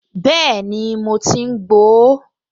Bẹ́ẹ̀ni, mo ti ń gbo ó